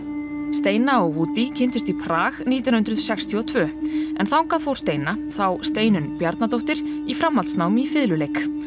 steina og Woody kynntust í Prag nítján hundruð sextíu og tvö en þangað fór steina Steinunn Bjarnadóttir í framhaldsnám í fiðluleik